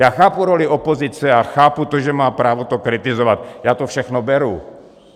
Já chápu roli opozice a chápu to, že má právo to kritizovat, já to všechno beru.